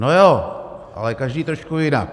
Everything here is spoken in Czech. No jo, ale každý trošku jinak.